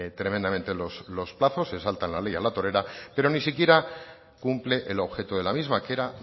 tremendamente los plazos se salta la ley a la torera pero ni siquiera cumple el objeto de la misma que era